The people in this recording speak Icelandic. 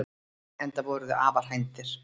Enda voru þau afar hænd að þér.